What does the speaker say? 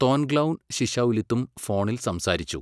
തോൻഗ്ളൗൻ ശിശൗലിത്തും ഫോണിൽ സംസാരിച്ചു